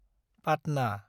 Patna